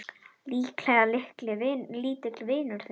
Líklega lítill vinur þinn!